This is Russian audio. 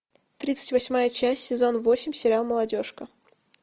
тридцать восьмая часть сезон восемь сериал молодежка